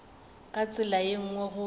ka tsela ye nngwe go